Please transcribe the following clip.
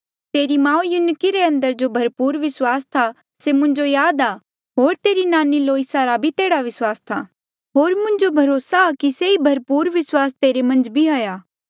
तेरी माऊ युनिके रे अंदर जो भरपूर विस्वास था से मुंजो याद आ होर तेरी नानी लोईस रा भी तेह्ड़ा विस्वास था होर मुंजो भरोसा आ कि से ई भरपूर विस्वास तेरे मन्झ भी हाया